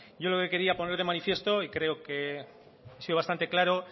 yo lo que quería poner de manifiesto y creo que he sido bastante claro